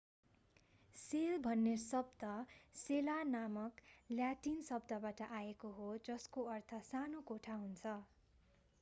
sale भन्ने शब्द सेला नामक ल्याटिन शब्दबाट आएको हो जसको अर्थ सानो कोठा हुन्छ